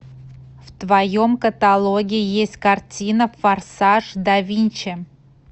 в твоем каталоге есть картина форсаж да винчи